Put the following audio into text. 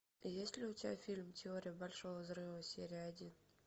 есть ли у тебя фильм теория большого взрыва серия один